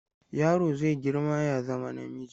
Yaro zai girma ya zama namiji.